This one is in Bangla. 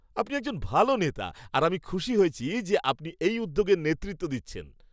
আপনি একজন ভালো নেতা, আর আমি খুশি হয়েছি যে, আপনি এই উদ্যোগের নেতৃত্ব দিচ্ছেন।